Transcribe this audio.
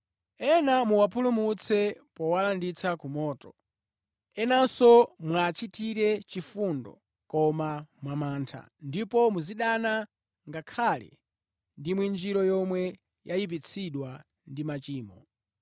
Ena muwapulumutse powalanditsa ku moto. Enanso muwachitire chifundo, koma mwa mantha, ndipo muzidana ngakhale ndi mwinjiro yomwe yayipitsidwa ndi machimo.